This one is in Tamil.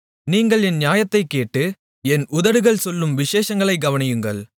நீங்கள் என் நியாயத்தைக் கேட்டு என் உதடுகள் சொல்லும் விசேஷங்களைக் கவனியுங்கள்